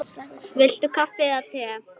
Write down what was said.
Viltu kaffi eða te?